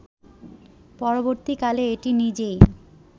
পরবর্তী কালে এটি নিজেই